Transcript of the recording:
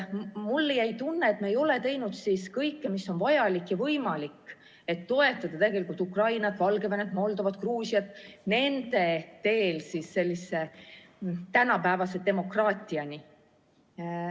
Mulle jäi tunne, et me ei ole teinud kõike, mis on vajalik ja võimalik, et toetada Ukrainat, Valgevenet, Moldovat ja Gruusiat nende teel tänapäevase demokraatiani.